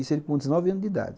Isso com dezenove anos de idade.